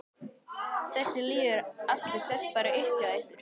Þessi lýður allur sest bara upp hjá ykkur.